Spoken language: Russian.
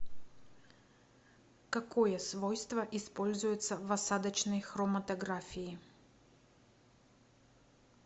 какое свойство используется в осадочной хроматографии